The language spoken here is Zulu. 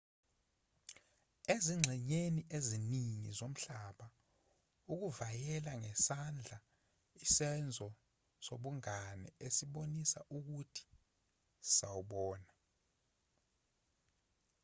ezingxenyeni eziningi zomhlaba ukuvayela ngesandla isenzo sobungane esibonisa ukuthi sawubona